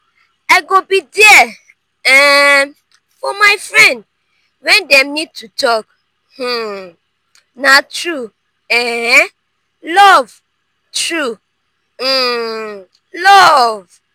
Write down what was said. i go be there um for my friend wen dem need to talk; um na true um love. true um love.